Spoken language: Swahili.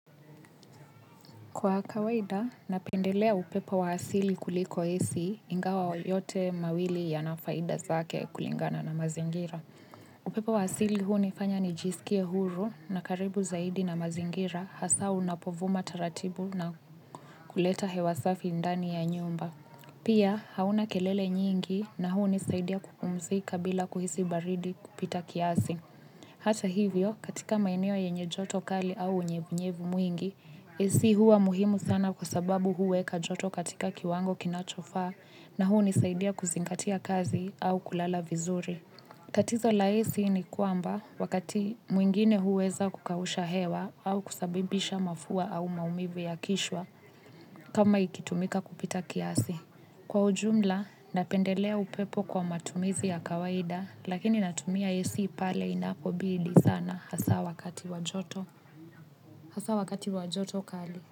Kwa kawaida, napendelea upepo wa asili kuliko esi ingawa yote mawili ya nafaida zake kulingana na mazingira. Upepo wa asili huni fanya ni jisikie huru na karibu zaidi na mazingira hasaa unapovuma taratibu na kuleta hewasafi ndani ya nyumba. Pia, hauna kelele nyingi na huni saidia kupumzika bila kuhisi baridi kupita kiasi. Hata hivyo, katika maeneo yenye joto kali au unyevunyevu mwingi, Ac hua muhimu sana kwa sababu huweka joto katika kiwango kinachofaa na huu nisaidia kuzingatia kazi au kulala vizuri. Tatizo la Ac ni kwamba wakati mwingine huweza kukausha hewa au kusabibisha mafua au maumivu ya kichwa kama ikitumika kupita kiasi. Kwa ujumla napendelea upepo kwa matumizi ya kawaida lakini natumia Ac pale inapobidi sana hasaa wakati wa joto. Hasaa wakati wa joto kali.